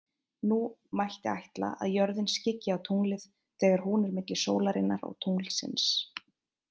Nú mætti ætla að jörðin skyggi á tunglið þegar hún er milli sólarinnar og tunglsins.